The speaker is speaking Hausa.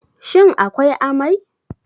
Shin akwai amai?